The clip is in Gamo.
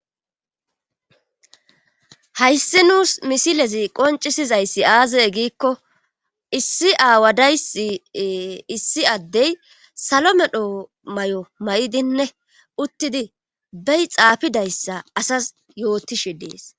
hayssi nuus misilezi qoncisizayssi aazaye giikko issi aawadayssi issi addey salo medho may7o may7idinne uttidi bey xaafidayssa asas yootishe dees